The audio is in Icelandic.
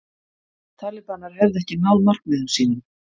Talibanar hefðu ekki náð markmiðum sínum